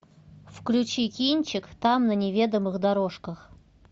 включи кинчик там на неведомых дорожках